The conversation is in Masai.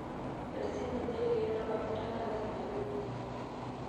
ore sininye ilkeek loomatunda naa lazima pee euuni